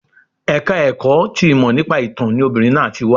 Ẹ̀ka ẹ̀kọ́ ti ìmọ̀ nípa ìtán ni obìnrin náà ti wá